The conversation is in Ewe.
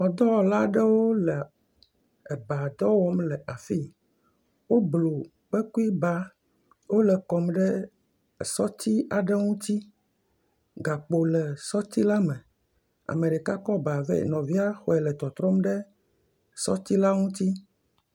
Xɔdɔwɔla aɖewo le eba dɔ wɔm le afii. Woblu kpekuiba , wole kɔm ɖe sɔti aɖe ŋuti. Gakpo le sɔti la me. Ame ɖeka kɔ ba vɛ. Nɔvia xɔe le tɔtrɔm ɖe sɔti la ŋuti.